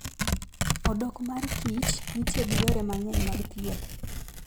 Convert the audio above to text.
Odok mar kich nitie gi yore mang'eny mag thieth.